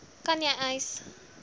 kan jy eis